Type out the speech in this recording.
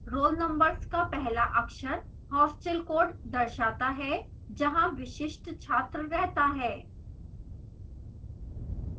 roll numbers का पहला अक्षर hostel code दर्शाता है जहाँ विशिष्ट छात्र रहता है